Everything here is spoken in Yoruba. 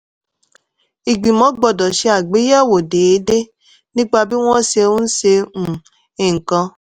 ìgbìmọ̀ gbọ́dọ̀ ṣe àgbéyẹ̀wò déédéé nípa bí wọ́n ṣe ń ṣe um nǹkan.